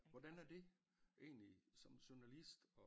Hvordan er det egentlig som journalist